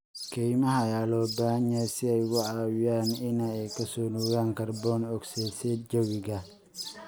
Kaymaha ayaa loo baahan yahay si ay uga caawiyaan in ay ka soo nuugaan kaarboon ogsaydhsaydh jawiga.